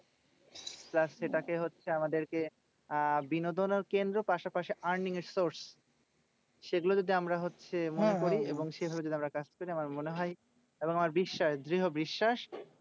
Plus সেটাকে হচ্ছে আমাদেরকে আহ বিনোদনের কেন্দ্র পাশাপাশি earning এর source. সেগুলো যদি আমরা হচ্ছে মনে করি এবং কাছ থেকে আমার মনে হয় এবং আমার বিশ্বাস দৃঢ় বিশ্বাস